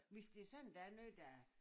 Hvis det sådan der er noget der